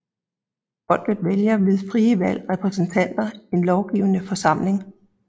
Folket vælger ved frie valg repræsentanter en lovgivende forsamling